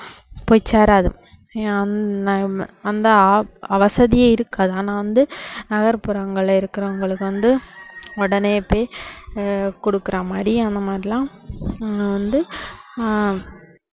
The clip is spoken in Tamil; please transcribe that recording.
போய் சேராது அந்த வா~ வசதியே இருக்காது ஆனா வந்து நகர் புறங்கள்ல இருக்குறவங்களுக்கு வந்து உடனே போய் ஆஹ் கொடுக்குற மாதிரி அந்த மாதிரியெல்லாம் ஆஹ் வந்து ஆஹ்